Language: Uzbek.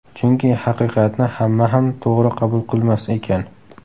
Chunki haqiqatni hamma ham to‘g‘ri qabul qilmas ekan.